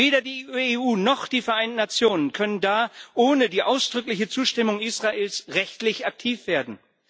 Weder die EU noch die Vereinen Nationen können da ohne die ausdrückliche Zustimmung Israels rechtlich aktiv werden.